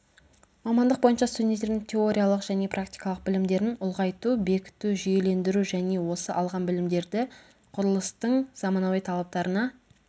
мамандық бойынша студенттердің теориялық және практикалық білімдерін ұлғайту бекіту жүйелендіру және осы алған білімдерді құрылыстың заманауи талаптарына